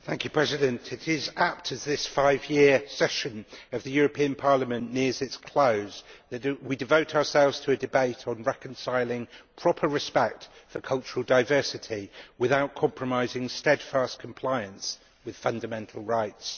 Mr President, it is apt as this five year session of the European Parliament nears its close that we devote ourselves to a debate on reconciling proper respect for cultural diversity without compromising steadfast compliance with fundamental rights.